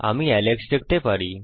আমি এলেক্স দেখতে পারি